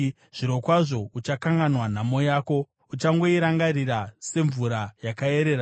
Zvirokwazvo uchakanganwa nhamo yako, uchangoirangarira semvura yakaerera.